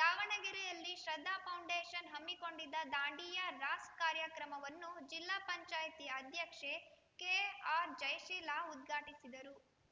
ದಾವಣಗೆರೆಯಲ್ಲಿ ಶ್ರದ್ಧಾ ಫೌಂಡೇಷನ್‌ ಹಮ್ಮಿಕೊಂಡಿದ್ದ ದಾಂಡಿಯಾ ರಾಸ್‌ ಕಾರ್ಯಕ್ರಮವನ್ನು ಜಿಲ್ಲಾ ಪಂಚಾಯತಿ ಅಧ್ಯಕ್ಷೆ ಕೆಆರ್‌ಜಯಶೀಲ ಉದ್ಘಾಟಿಸಿದರು